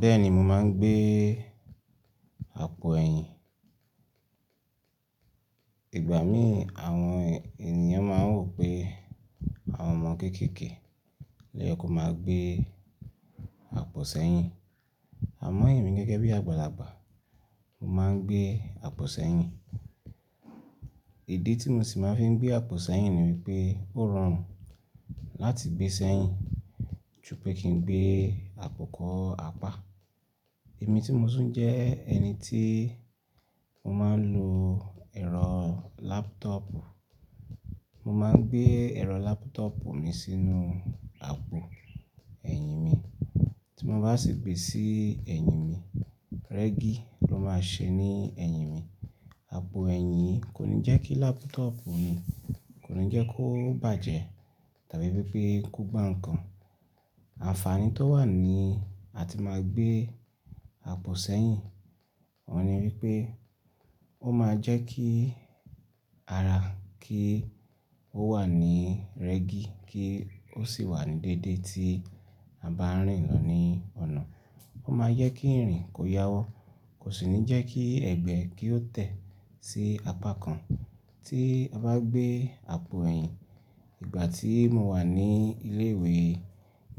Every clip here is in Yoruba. Bẹ́ẹ̀ni mo máa ń gbé àpò ẹ̀yìn. Ìgbà mí àwọn ènìyàn máa ń wò pé àwọn ọmọ kéékèèké loye ko máa ń gbé àpò sẹ́yìn. Àmọ́ ẹ̀mí gẹ́gẹ́ bí àgbàlagbà, mo máa ń gbé àpò sẹ́yìn. Ìdí tí mo sì máa ń fi gbé àpò sẹ́yìn ni wípé ó rọrùn láti gbé sẹ́yìn ju pé kí n gbé àpò kọ́ apá. Èmi tí mo tún jẹ́ ẹni tí mo máa ń lo ẹ̀rọ laptop. Mo máa ń gbé ẹ̀rọ laptop mi sínú àpò ẹ̀yìn mi. Tí mo bá sì gbé sí ẹ̀yìn mi, rẹ́gí ló máa ṣe ní ẹ̀yìn mi. Àpò ẹ̀yìn kò ní jẹ́ kí laptop mi kò ní jẹ́ kó bàjẹ́ tàbí wipé kó gbá ǹnkan. Àǹfààní tó wà ní a ti máa gbé àpò sẹ́yìn oun ni wípé ó máa jẹ́ kí ara kí ó wà ní rẹ́gí kí ó sì wà ní déédé tí a bá ń rìn lọ ní ọ̀nà. Ó máa ń jẹ́ kí ìrìn kó yáwọ́, kò sì ní jẹ́ kí ẹ̀gbẹ́ kí ó tẹ̀ sí apá kan tí a bá gbé àpò ẹ̀yìn. Ìgbà tí mo wà ní ilé ìwé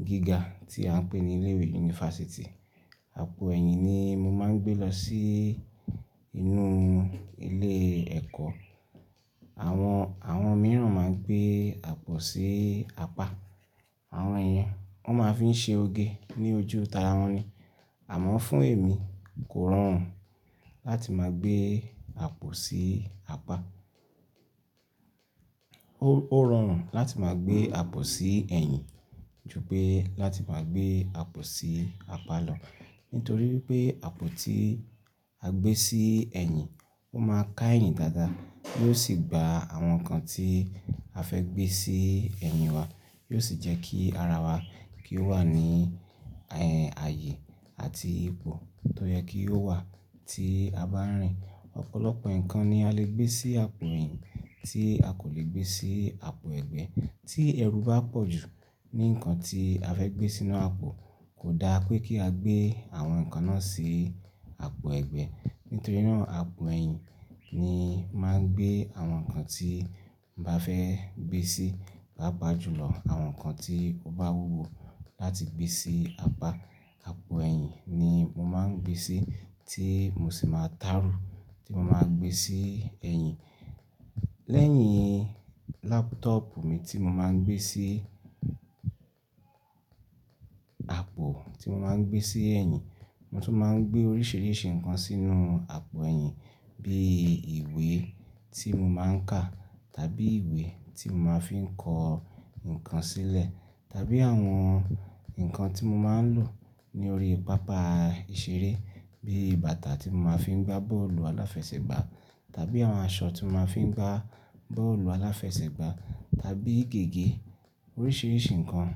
gíga tí à ń pè ní ilé ìwé yunifásítì, àpò ẹ̀yìn ni mo máa ń gbé lọ sí inú ilé ẹ̀kọ́. Àwọn, àwọn mìíràn máa ń gbé àpò sí apá. Àwọn iyen wọ́n máa ń fi ṣe oge ní ojú tàràwọn ni. Àmọ́ fún èmi, kò rọrùn láti máa gbé àpò sí apá. Ó, ó rọrùn láti máa gbé àpò sí ẹ̀yìn ju pé láti máa gbé àpò sí apá lọ. Nítorí pé àpò tí a gbé sí ẹ̀yìn ó máa ká ẹ̀yìn dáadáa yóò sì gba àwọn nǹkan tí a fẹ́ gbé sí ẹ̀yín wa, yóò sì jẹ́ kí ara wa kí ó wà ní, ààyè àti ipò tó yẹ kí ó wà tí a bá ń rìn. Ọ̀pọ̀lọpọ̀ nǹkan ni a lè gbé sí àpò ẹ̀yìn tí a kò lè gbé sí àpò ẹ̀gbẹ́. Tí ẹrù bá pọ̀ jù ní nǹkan tí a fẹ́ gbé sínú àpò, kò da pé kí a gbé àwọn nǹkan náà sí àpò ẹ̀gbẹ́. Nítorí náà àpò ẹ̀yìn ni máa ń gbé àwọn nǹkan tí n bá fẹ́ gbé sí paapàa jùlọ àwọn nǹkan tí ó bá wúwo láti gbé sí apá. Àpò ẹ̀yìn ni mo máa ń gbé sí tí mo sì máa ń taru tí mo máa gbé sí ẹ̀yìn. Lẹ́yìn laptop mi tí mo máa ń gbé sí àpò tí mo máa ń gbé sí ẹ̀yìn, mo tún máa ń gbé oríṣìíríṣìí nǹkan sínú àpò ẹ̀yìn bí ìwé tí mo máa ń kà tàbí ìwé tí mo máa ń fi kọ́ nǹkan sílẹ̀ tàbí àwọn nǹkan tí mo máa ń lò ní orí pápá ìṣeré bí bàtà tí mo máa ń fi gbá bọ́ọ̀lù aláfẹsẹ̀gbá tàbí àwọn aṣọ tí mo máa ń fi gbá bọ́ọ̀lù aláfẹsẹ̀gbá tàbí gègé. Oríṣìíríṣìí nǹkan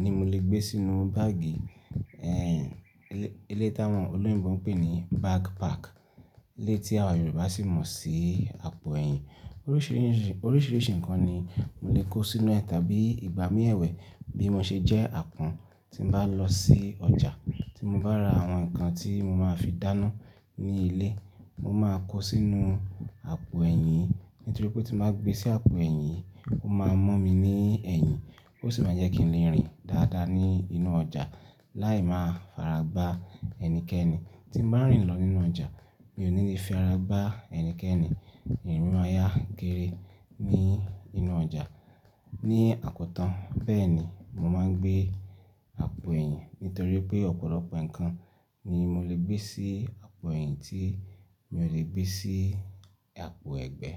ni mo lè gbé sínú báàgì ẹ̀yìn. Elé, eléyi tí àwọn olóyinbọ̀ ń pè ní backpack. Eléyi tí àwa Yorùbá sì mọ̀ sí àpò ẹ̀yìn. Oríṣìíríṣìí, oríṣìíríṣìí nǹkan ni mo lè kó sínú ẹ tàbí ìgbà mí ẹ̀wẹ̀ bí mo ṣe jẹ́ àpọ́n tí n bá lọ sí ọjà tí mo bá ra àwọn nǹkan tí mo máa fi dáná ní ilé. Mo máa kó sínú àpò ẹ̀yìn nítorí pé tí mo bá gbé sí àpò ẹ̀yìn ó máa mú mi ní ẹ̀yìn ó sì máa jẹ́ kí le rìn dáadáa ní inú ọjà láì máa faragbá ẹnikẹ́ni. Tí n bá rìn lọ nínú ọjà mi ò ní lè fi ara gbá ẹnikẹ́ni, ìrin mi màá yá gére ní inú ọjà ní àkótán. Bẹ́ẹ̀ni mo máa ń gbé àpò ẹ̀yìn nítorí pé ọ̀pọ̀lọpọ̀ nǹkan ni mo lè gbé sí àpò ẹ̀yìn tí mi ò lè gbé sí àpò ẹ̀gbẹ́.